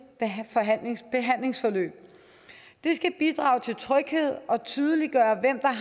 behandlingsforløb det skal bidrage til tryghed og tydeliggøre hvem